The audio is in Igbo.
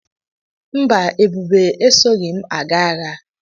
Mba, Ebube esoghi m aga agha.